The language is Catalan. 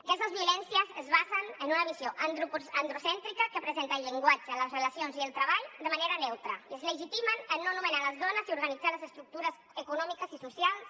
aquestes violències es basen en una visió androcèntrica que presenta el llenguatge les relacions i el treball de manera neutra i es legitimen en no nomenar les dones i organitzar les estructures econòmiques i socials